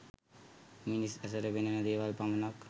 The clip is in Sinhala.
මිනිස් ඇසට පෙනෙන දේවල් පමණක්